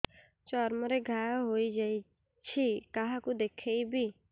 ଚର୍ମ ରେ ଘା ହୋଇଯାଇଛି କାହାକୁ ଦେଖେଇବି